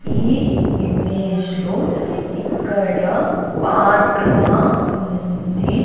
ఈ ఇమేజ్లో ఇక్కడ పార్క్ లా ఉంది.